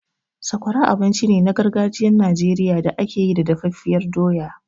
Sakwara abinci ne na gargajiyar Najeriya da ake yi da dafaffiyar doya.